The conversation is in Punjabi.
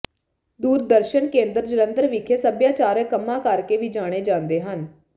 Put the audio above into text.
ਦੂਰਦਰਸ਼ਨ ਕੇਂਦਰ ਜਲੰਧਰ ਵਿਖੇ ਸੱਭਿਆਚਾਰਕ ਕੰਮਾਂ ਕਰਕੇ ਵੀ ਜਾਣੇ ਜਾਦੇ ਹਨ